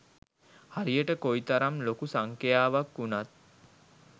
හරියට කොයි තරම් ලොකු සංඛ්‍යාවක් වුණත්